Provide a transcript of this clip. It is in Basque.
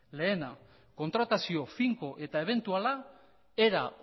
lehena kontratazio finko eta ebentuala era